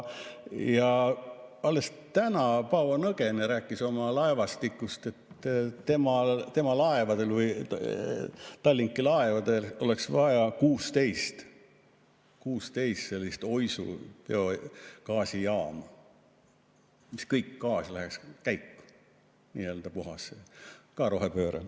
Alles täna Paavo Nõgene rääkis oma laevastikust, et tema laevadel või Tallinki laevadel oleks vaja 16 sellist Oisu biogaasijaama, ja kõik gaas läheks käiku, puhas rohepööre.